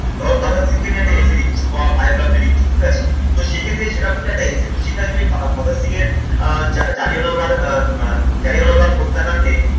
ধরো ভগত সিং কে নিয়ে একটা essay লিখছ বা biography লিখছ ঠিক আছে তো সেক্ষেত্রে সেটাও কিন্তু একটা essay তো সেখানে তুমি ভগৎ সিংয়ের আহ জারিওনাও বা আহ জালিওনাবাগ হত্যাকাণ্ডে